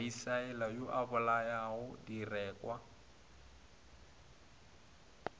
misaele wo o bolayago direkwa